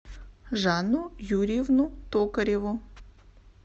жанну юрьевну токареву